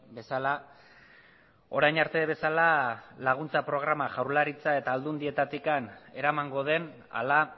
bezala orain arte bezala laguntza programa jaurlaritza eta alduendietatik eramango den ala